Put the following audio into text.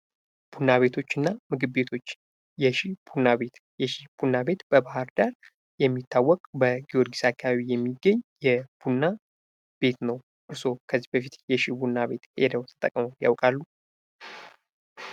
ቡና ቤቶች እና ምግብ ቤቶች የሺ ቡና ቤት በባህር ዳር የሚታወቅ በጊዮርጊስ አካባቢ የሚገኝ የቡና ቤት ነው። እርስዎ ከዚህ በፊት የሺ ቡና ቤት ሄደው ተጠቅመው ያውቃሉ?